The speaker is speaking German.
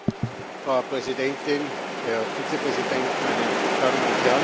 Frau Präsidentin, Herr Vizepräsident, meine Damen und Herren!